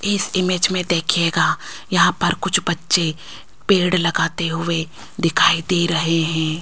इस इमेज में देखिएगा यहां पर कुछ बच्चे पेड़ लगाते हुए दिखाई दे रहे हैं।